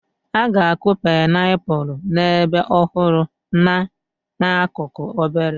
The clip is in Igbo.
A ga-akụ painiapulu n'ebe ọhụrụ na n'akụkụ obere.